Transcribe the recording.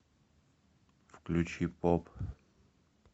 включи поп